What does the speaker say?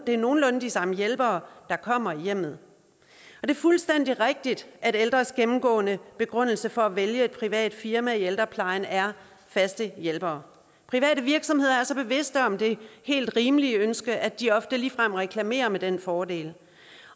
er nogenlunde de samme hjælpere der kommer i hjemmet det er fuldstændig rigtigt at de ældres gennemgående begrundelse for at vælge et privat firma i ældreplejen er faste hjælpere private virksomheder er så bevidste om det helt rimelige ønske at de ofte ligefrem reklamerer med den fordel